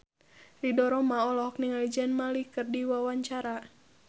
Ridho Roma olohok ningali Zayn Malik keur diwawancara